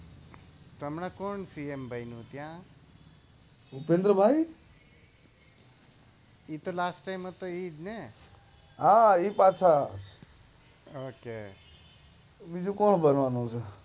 હમણાં કોણ પીએમ બનું ત્યાં ભુપેન્દ્રભાઈ એ તો લાસ્ટ ટાઈમ હતા એ જ ને હા એ પાછા ઓકે બીજું કોણ બનવાનું